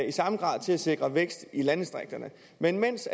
i samme grad er til at sikre vækst i landdistrikterne men mens